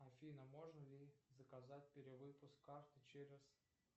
афина можно ли заказать перевыпуск карты через